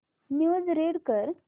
news read कर